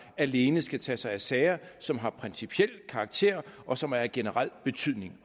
alene skal tage sig af sager som har principiel karakter og som er af generel betydning